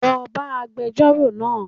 Lo bá agbejórò náà